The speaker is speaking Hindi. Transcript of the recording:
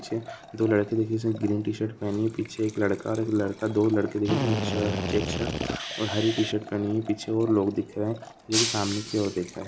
पीछे दो लड़के दिख रहे हैं जिसने ग्रीन टी-शर्ट पहनी हैं। पीछे एक लड़का और एक लड़का दो लड़के दिख रहे हैं जिसने एक शर्ट चेक शर्ट और हरी टी-शर्ट पहनी हैं। पीछे और लोग दिख रहे हैं जो कि सामने की ओर दिख रहे हैं।